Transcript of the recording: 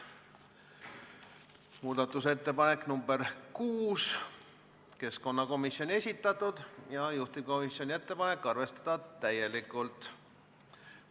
Muudatusettepanek nr 6 on keskkonnakomisjoni esitatud, juhtivkomisjoni ettepanek on arvestada täielikult.